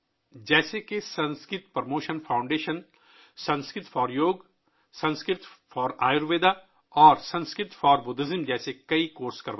جیسے کہ Sanskrit promotion foundation بہت سے کورس چلاتی ہے جیسے یوگ کے لیے سنسکرت، آیوروید کے لیے سنسکرت اور بدھ مت کے لیے سنسکرت